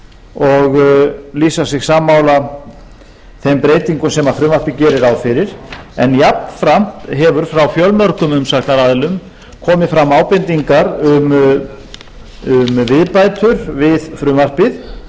og lýsa sig sammála þeim breytingum sem frumvarpið gerir ráð fyrir en jafnframt hafa frá fjölmörgum umsagnaraðilum komið fram ábendingar um viðbætur við frumvarpið